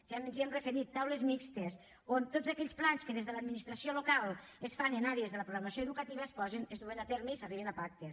ja ens hi hem referit taules mixtes on tots aquells plans que des de l’administració local es fan en ares de la programació educativa es duguin a terme i s’arribin a pactes